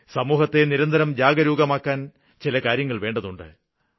സമൂഹത്തെ നിരന്തരം ജാഗരൂകമാക്കുവാന് ചില കാര്യങ്ങള് വേണ്ടതുണ്ട്